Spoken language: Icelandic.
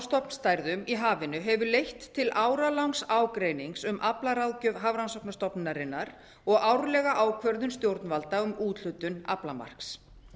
stofnstærðum í hafinu hefur leitt til áralangs ágreinings um aflaráðgjöf hafrannsóknastofnunarinnar og árlega ákvörðun stjórnvalda um úthlutun aflamarks